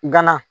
Gana